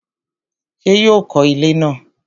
ṣé yóò kọ ilẹ́ náà?